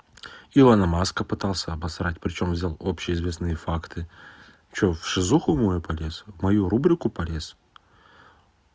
илона маска пытался опустить причём взял общеизвестные факты что в шизофрению мою полез в мою рубрику полез